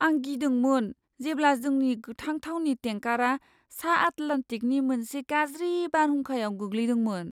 आं गिदोंमोन जेब्ला जोंनि गोथां थावनि टेंकारा सा आटलान्टिकनि मोनसे गाज्रि बारहुंखायाव गोग्लैदोंमोन।